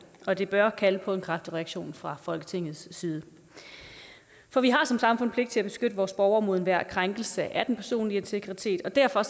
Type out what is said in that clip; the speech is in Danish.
og det bør kalde på en kraftig reaktion fra folketingets side for vi har som samfund pligt til at beskytte vores borgere mod enhver krænkelse af den personlige integritet og derfor